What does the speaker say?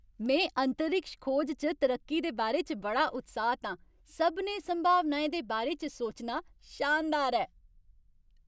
में अंतरिक्ष खोज च तरक्की दे बारे च बड़ा उत्साहत आं! सभनें संभावनाएं दे बारे च सोचना शानदार ऐ।